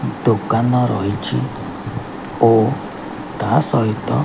ଦୋକାନ ରହିଛି ଓ ତାହା ସହିତ --